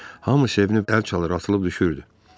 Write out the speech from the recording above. Hamı sevinib əl çalır, atılıb düşürdü.